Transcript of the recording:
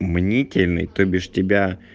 мнительный то без тебя